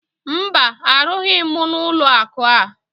Mba, arụbughi m n'ụlọakụ a